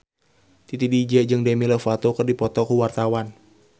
Titi DJ jeung Demi Lovato keur dipoto ku wartawan